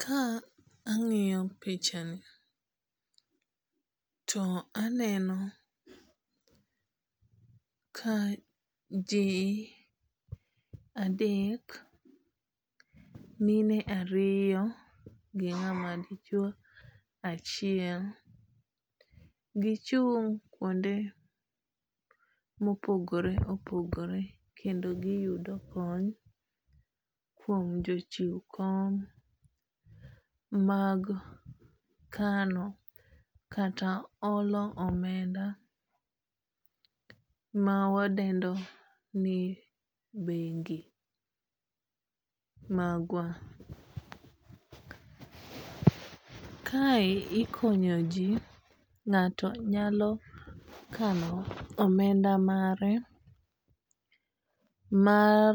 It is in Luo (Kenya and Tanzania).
Ka ang'iyo pichani, to aneno ka ji adek mine ariyo gi ng'ama dichuo achiel gi chung' kuonde ma opogore opogore kendo giyudo kony kuom jochiw kony mag kano kata olo omenda mawadendo ni bengi magwa . Kae ikonyo ji, ng'ato nyalo kano omenda mare mar